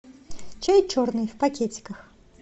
чай черный в пакетиках